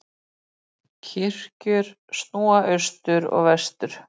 Kirkjur snúa austur og vestur.